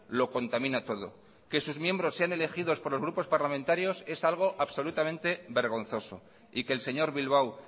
lo contamina todo que sus miembros sean elegidos por los grupos parlamentarios es algo absolutamente vergonzoso y que el señor bilbao